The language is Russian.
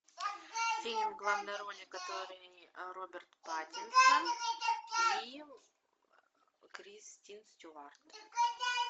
фильм в главной роли который роберт паттинсон и кристен стюарт